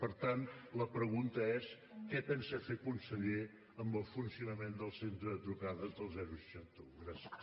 per tant la pregunta és què pensa fer conseller amb el funcionament del centre de trucades del seixanta un gràcies